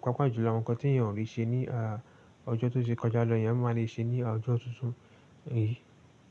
Paapa jùlọ àwọn nǹkan tí èèyàn ò ri ṣe ní à ọjọ́ tó ti ṣe kọjá lọ, èèyàn máa le ṣe ní ọjọ́ tuntun. Ẹ.